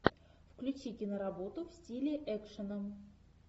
включи киноработу в стиле экшена